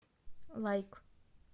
лайк